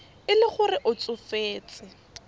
e le gore o tsofetse